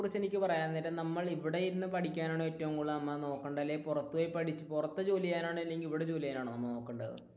ഇതിനെ കുറിച്ച് എനിക്ക് പറയാൻ നേരം നമ്മൾ ഇവിടെ ഇരുന്ന് പഠിക്കാനാണ് നമ്മൾ ഏറ്റവും കൂടുതൽ നോക്കേണ്ടത് അല്ലെങ്കിൽ പുറത്തു ജോലി ചെയ്യാനാണോ അല്ലെങ്കിൽ ഇവിടെ ജോലി ചെയ്യുവാനാണോ നമ്മൾ നോക്കേണ്ടത്?